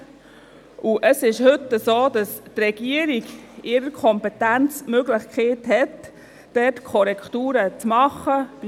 Heute hat die Regierung die Kompetenz, dort bei Bedarf Korrekturen vorzunehmen.